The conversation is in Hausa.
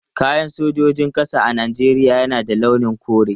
Kayan sojojin ƙasa a Najeriya na da launin kore.